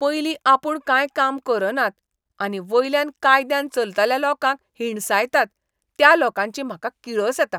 पयलीं आपूण कांय काम करनात, आनी वयल्यान कायद्यान चलतल्या लोकांक हिणसायतात त्या लोकांची म्हाका किळस येता.